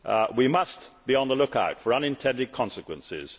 We must be on the look out for unintended consequences.